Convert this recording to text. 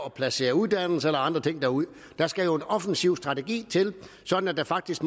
at placere uddannelser eller andre ting derude der skal jo en offensiv strategi til sådan at der faktisk